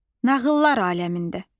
Nağıllar aləmində.